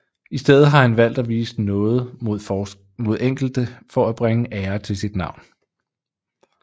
I stedet har han valgt at vise nåde mod enkelte for at bringe ære til sit navn